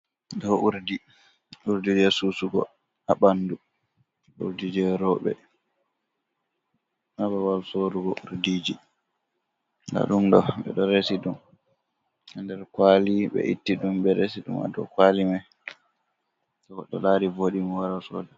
do urdi, urdi ji susugo ha bandu, urdijee robe, ha babal sorugo urdiji. Nda dom do be do resi dum nder kwali, be itti dum be resi dum ha do kwali mai, to godd lari vodimo wara soda.